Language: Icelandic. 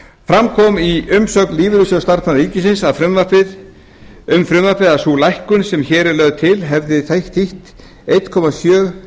fram kom í umsögn lífeyrissjóðs starfsmanna ríkisins um frumvarpið að sú lækkun sem hér sé lögð til hefði þýtt eitt komma